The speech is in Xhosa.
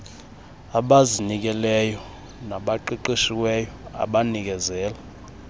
abazinikeleyo nabaqeqeshiweyo abanikezela